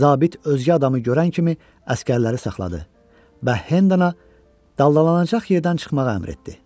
Zabit özgə adamı görən kimi əsgərləri saxladı və Hendona daldalanacaq yerdən çıxmağı əmr etdi.